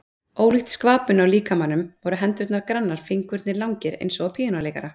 Ólíkt skvapinu á líkamanum voru hendurnar grannar, fingurnir langir eins og á píanóleikara.